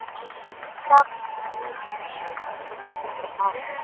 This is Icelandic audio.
Hjálpi mér, sagði mamma.